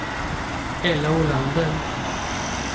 Ella Olander